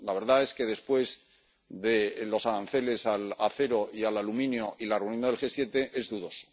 La verdad es que después de los aranceles al acero y al aluminio y de la reunión del G7, es dudoso.